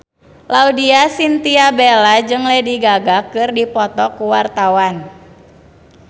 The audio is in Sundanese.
Laudya Chintya Bella jeung Lady Gaga keur dipoto ku wartawan